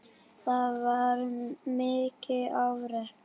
Það var mikið afrek.